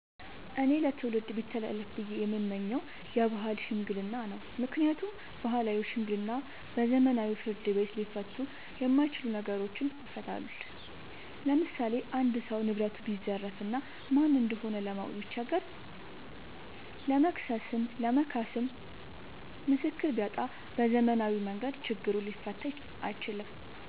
እኔ ለትውልድ ቢተላለፍ ብዬ የምመኘው የባህል ሽምግልና ነው። ምክንያቱም ባህላዊ ሽምግልና በዘመናዊ ፍርድ ቤት ሊፈቱ የማይችሉ ነገሮችን ይፈታል። ለምሳሌ አንድ ሰው ንብረቱን ቢዘረፍ እና ማን እንደሆነ ለማወቅ ቢቸገር ለመክሰስም ለመካስም ምስክር ቢያጣ በዘመናዊ መንገድ ችግሩ ሊፈታ አይችልም።